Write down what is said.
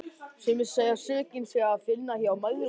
Sumir segja að sökina sé að finna hjá mæðrum okkar.